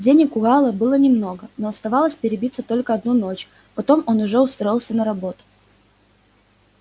денег у гаала было немного но оставалось перебиться только одну ночь потом он уже устроился на работу